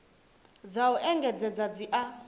dza u engedzedza dzi a